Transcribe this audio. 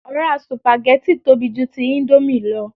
Ọ̀rá sùpàgẹ́tì tóbi ju ti íńdómì lọ